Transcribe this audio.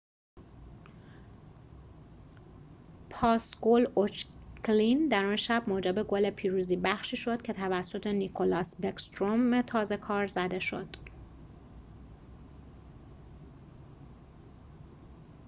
پاس گل اوچکین در آن شب موجب گل پیروزی بخشی شد که توسط نیکلاس بکستروم تازه‌کار زده شد